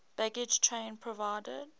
baggage train provided